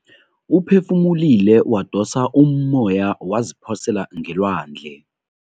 Uphefumulile wadosa ummoya waziphosela ngelwandle.